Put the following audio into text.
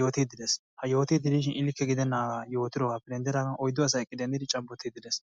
yootide de'ees. ha yootide diishin I likke gidenaagappe yootidoogaappe denddidaanag oyddu asay eqqidi cabottide dees.